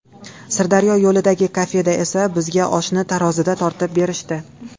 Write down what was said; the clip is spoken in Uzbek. Sirdaryo yo‘lidagi kafeda esa bizga oshni tarozida tortib berishdi.